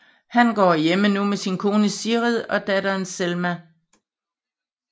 Han går hjemme nu med sin kone Sigrid og datter Selma